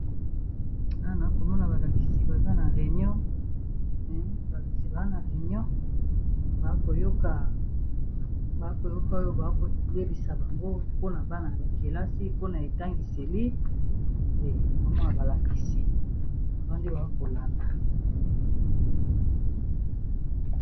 Awa nazokomona balakisi baza na réunion baakoyoka oyo akolebisa bango mpona bana yakelasi mpona etangiseli te namwana balakisi babandi baakolanda